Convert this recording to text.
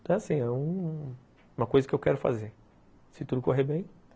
Então é assim, é uma coisa que eu quero fazer, se tudo correr bem.